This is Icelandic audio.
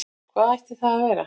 Hvað ætti það að vera?